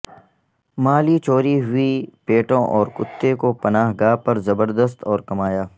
مالی چوری ہوئی پیٹوں اور کتے کو پناہ گاہ پر زبردست اور کمایا